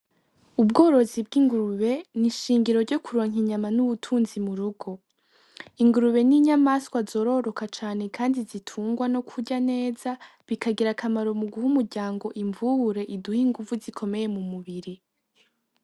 Ubworozi bw'ingurube ni ishingiro ryokuronka ubutunzi murugo ingurube n'inyamanswa zororoka cane kandi zitungwa no kurya neza bikagira akamaro muguha umuryango imvubure ziduha ingufu zikomeye mu mubiri.